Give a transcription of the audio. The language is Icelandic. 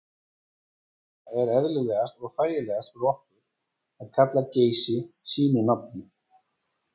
Þess vegna er eðlilegast og þægilegast fyrir okkur að kalla Geysi sínu nafni.